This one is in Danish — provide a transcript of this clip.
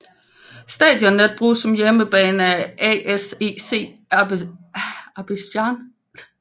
Stadionet bruges som hjemmebane af ASEC Abidjan